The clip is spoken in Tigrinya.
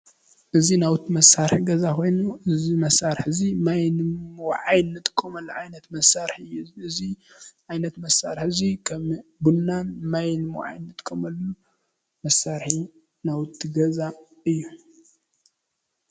እዚ ናውቲ መሳርሒ ገዛ ኮይኑ እዚ መሳርሒ እዚ ማይ ንምውዓይ ንጥቀመሉ ዓይነት መሳርሒ እዩ፡፡ እዚ ዓይነት መሳርሒ እዚ ከም ቡናን ማይ ንምውዓይ ንጥቀመሉ መሳርሒ ናውቲ ገዛ እዩ፡፡